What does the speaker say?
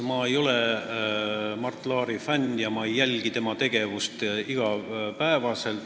Ma ei ole Mart Laari fänn ja ma ei jälgi tema tegevust iga päev.